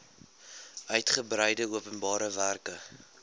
uigebreide openbare werke